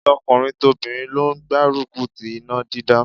Tọkùnrin tobìnrin ló gbárùkù ti iná dídá.